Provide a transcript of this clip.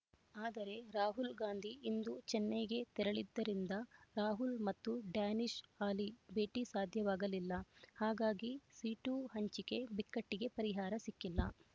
ಆದರೆ ರಾಹಲ್‌ಗಾಂಧಿ ಇಂದು ಚೆನ್ನೈಗೆ ತೆರಳಿದ್ದರಿಂದ ರಾಹುಲ್ ಮತ್ತು ಡ್ಯಾನಿಶ್ ಆಲಿ ಭೇಟಿ ಸಾಧ್ಯವಾಗಲಿಲ್ಲ ಹಾಗಾಗಿ ಸೀಟು ಹಂಚಿಕೆ ಬಿಕ್ಕಟ್ಟಿಗೆ ಪರಿಹಾರ ಸಿಕ್ಕಿಲ್ಲ